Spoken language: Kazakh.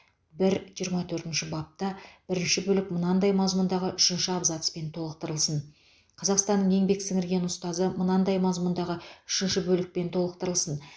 бір жиырма төртінші бапта бірінші бөлік мынадай мазмұндағы үшінші абзацпен толықтырылсын қазақстанның еңбек сіңірген ұстазы мынадай мазмұндағы үшінші бөлікпен толықтырылсын